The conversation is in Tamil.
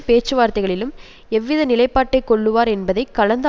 பேச்சு வார்த்தைகளிலும் எவ்வித நிலைப்பாட்டை கொள்ளுவார் என்பதை கலந்து